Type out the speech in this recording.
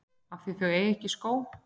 Af því þau eiga ekki skó.